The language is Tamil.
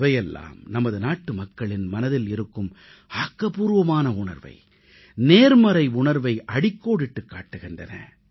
இவையெல்லாம் நமது நாட்டுமக்களின் மனதில் இருக்கும் ஆக்கப்பூர்வமான உணர்வை நேர்மறை உணர்வை அடிக்கோடிட்டுக் காட்டுகின்றன